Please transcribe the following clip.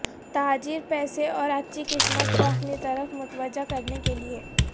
تاجر پیسے اور اچھی قسمت کو اپنی طرف متوجہ کرنے کے لئے